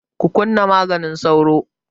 Ku kunna maganin sauron!